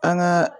An ka